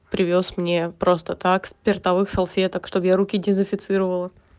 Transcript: привёз мне просто так спиртовых салфеток чтобы я руки дезинфицировала